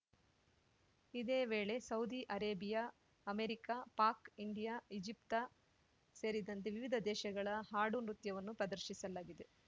ಇದೇ ವೇಳೇ Saudi Arabia America Pak India Egypt ಸೇರಿದಂತೆ ವಿವಿಧ ದೇಶಗಳ ಹಾಡು ನೃತ್ಯವನ್ನು ಪ್ರದರ್ಶಿಸಲಾಗಿದೆ